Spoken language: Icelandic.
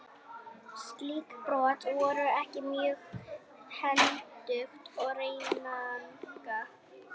Slík brot voru ekki mjög hentug til reikninga.